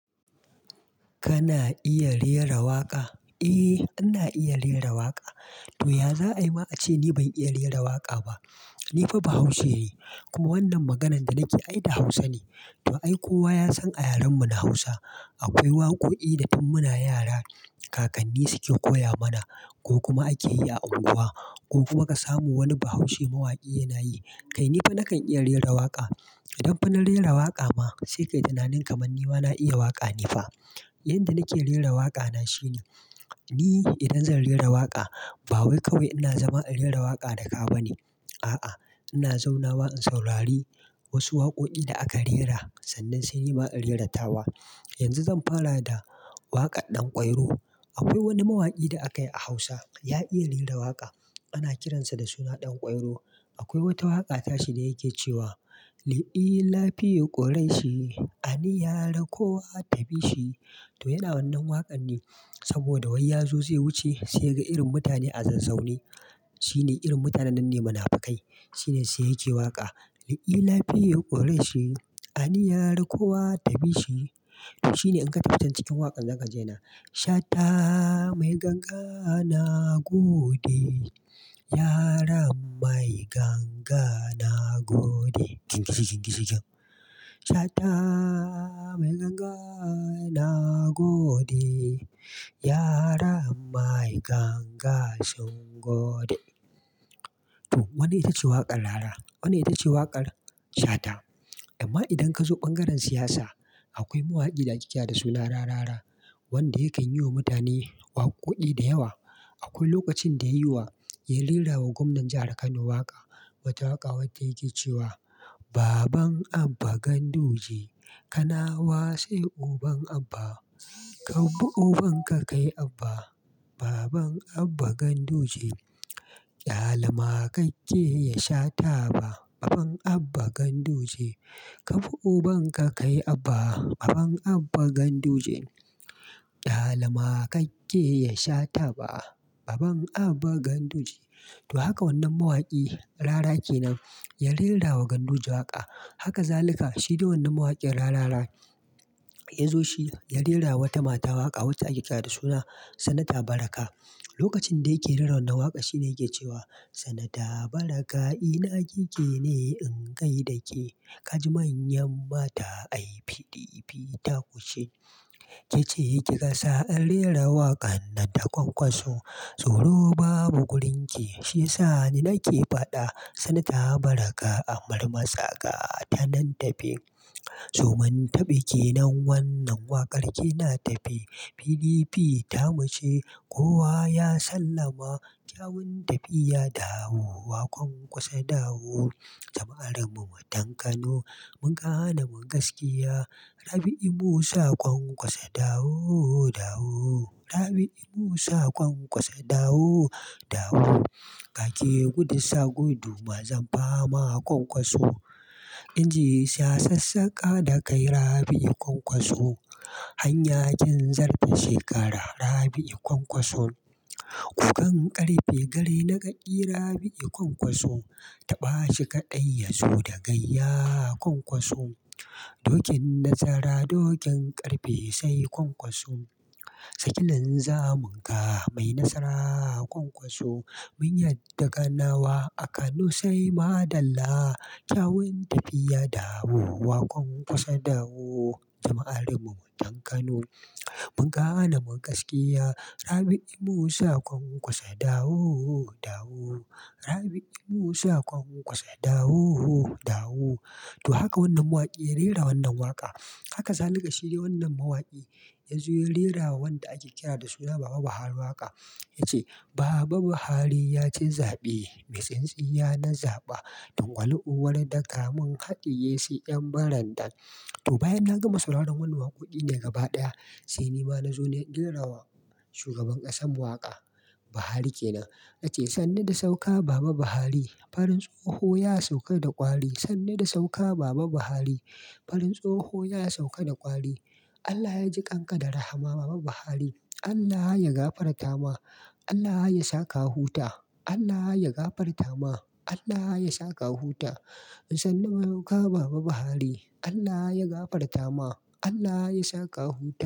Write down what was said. Kana iya rera waƙa? Eh, ana iya rera waƙa. To, ya za a yi ma a ce ni ban iya rera waƙa ba? Ni fa Bahaushe ne kuma wannan maganan da nake yi da Hausa ne. To ai, kowa ya san a yaren mu na Hausa. Akwai waƙoƙi da tun muna yara kakanni suke koya mana, ko kuma ake yi a unguwa, ko kuma ka samu wani Bahaushe mawaki yana yi. Kai ni fa nakan iya rera waƙa. Idan fa na rera waƙa ma sai kai tunanin kaman ni ma na iya waƙa ne fa. Yanda nake rera waƙa na shine, ni idan zan rera waƙa ba wai kawai ina zama in rera waƙa da ka ba ne. A'a, ina zaunawa in saurari wasu waƙoƙi da aka rera sannan sai ni ma in rera tawa. Yanzu zan fara da waƙar Ɗan kwairo. Akwai wani mawaki da aka yi a Hausa, ya iya rera waƙa. Ana kiransa da suna Ɗan kwairo. Akwai wata waƙa tashi da yake cewa; "Li'i lafiyo ƙorai shi, ani yar kowa ta bi shi." To yana wannan waƙan ne saboda wai ya zo zai wuce sai yaga irin mutane a zazzau ne. Shine irin mutanen nan ne munafukai. Shine sai yake waƙa; "Li'i lafiyo ƙorai shi, ani yar kowa ta bi shi." To shine in ka tafi can cikin waƙan, zakaji yana; Shata mai ganga na gode, yaron mai ganga na gode. Shata mai ganga na gode, yaron mai ganga sun gode. To wannan ita ce waƙar rara? Wanne ita ce waƙar Shata? Amma idan ka zo bangaren siyasa akwai mawaki da ake kira da suna Rarara wanda yakan yi wa mutane waƙoƙi da yawa. Akwai lokacin da ya yi wa, ya rera wa gwamnan jahar Kano waƙa. Wata waƙa wacce yake cewa; Baban Abba Ganduje, Kanawa sai uban Abba. Kabbu uban ka kai Abba. Baban Abba Ganduje, ƙyale maƙaƙke ya sha taba. Baban Abba Ganduje, kaube uban ka kai Abba. Baban Abba Ganduje, ƙyale maƙake ya sha taba. Baban Abba Ganduje. To haka wannan mawaki Rara kenan ya rera wa Ganduje waƙa. Haka zalika shi dai wannan mawakin Rarara, ya zo shi ya rera wata mata waƙa wacce ake kira da suna Sanata Baraka. Lokacin da yake rera wannan waƙa shine yake cewa; Sanata Baraka ina kike ne in ga yi da ke? Ka ji manyan mata ai PDP ta kuce. Kece kika sa in rera waƙan nan ta kwankwaso. Tsoro babu wurin ki, shiya sa ni nake faɗa. Sanata Baraka amar masaƙa ta nan tafe. To mun tafi kenan wannan waƙar, kina tafe. PDP ta muce kowa ya sallama. Kyawun tafiya dawowa, Kwankwaso dawo. Jama'ar mu mutan Kano mun kane mu gaskiya. Rabi'u Musa Kwankwaso dawo, dawo. Rabi'u Musa Kwankwaso dawo, dawo. Ka ke gudun sa gudu mazan fa ma Kwankwaso. Inji sha sassaƙa da kai Rabi'u Kwankwaso. Hanya kin zarce shekara Rabi'u Kwankwaso. Gugan ƙarfe garna kaki Rabi'u Kwankwaso. Taɓa shi kaɗai yazo da gayya Kwankwaso. Dokin nasara dokin ƙarfe sai Kwankwaso. Saki linzamun ka mai nasara Kwankwaso. Mun yarda Kanawa a Kano sai maɗalla. Kyawun tafiya dawo, Kwankwaso dawo. Jama'ar mu matan Kano mun gane mun gaskiya. Rabi'u Musa Kwankwaso dawo, dawo. Rabi'u Musa Kwankwaso dawo, dawo. To haka wannan mawaki ya rera wannan waƙa. Haka zalika shi de wannan mawaki ya zo ya rera wa wanda ake kira da suna Baba Buhari waƙa. Yace; Baba Buhari ya ci zaɓe, mai tsintsinya na zaɓa. Tungwal uwar ɗaka kaɗi yesu 'yan barandan. To bayan nagama sauraren wannan wakokin gabaki daya, sai nima nazo na rairawa shugaban kasarmu waƙa Bahari kenan, nace sannu da sauka baba Buhari Farin tsoho ya sauka da kwari, sannu da sauka baba Buhari farin tsoho ya sauka da kwari Allah yaji kanka da rahama Baba Buhari, Allah yagafarta ma Allah ya saka huta, Allah ya gafarta ma. Allah ya saka huta. Sannu da sauka baba Buhari, Allah yagafarta ma Allah ya saka huta.